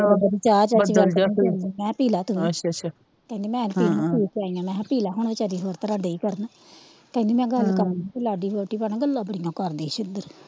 ਮੈ ਕਿਹਾ ਪੀਲਾ ਤੂੰ ਵੀ ਕਹਿੰਦੀ ਮੈ ਨਹੀਂ ਪੀਣੀ ਮੈ ਪੀ ਕੇ ਆਈ ਆ ਮੈ ਕਿਹਾ ਪੀਲਾ ਹੁਣ ਵਿਚਾਰੀ ਹੋਰ ਤਰ੍ਹਾਂ ਦਈ ਕਰਨ ਕਹਿੰਦੀ ਮੈ ਗੱਲ ਕਰਨੀ ਸੀ ਲਾਗੇ ਖਲੋਤੀ ਭੈਣਾਂ ਗੱਲਾਂ ਬੜੀਆਂ ਕਰਦੀ ਹੀ।